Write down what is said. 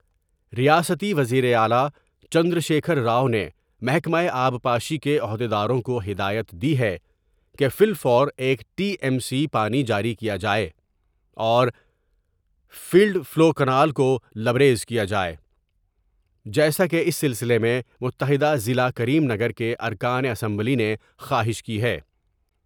ریاستی وزیراعلی چندرشیکھر راؤ نے محکمہ آبپاشی کے عہد یداروں کو ہدایت دی ہے کہ فی الفورا یک ٹی ایم سی پانی جاری کیا جائے اور فلڈ فلو کنال کولبریز کیا جائے جیسا کہ اس سلسلے میں متحد ضلع کریم نگر کے ارکان اسمبلی نے خواہش کی ہے۔